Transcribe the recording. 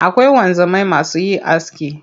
Akwai wanzamai masu yin aski.